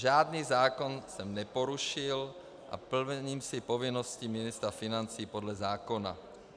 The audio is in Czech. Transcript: Žádný zákon jsem neporušil a plním si povinnosti ministra financí podle zákona.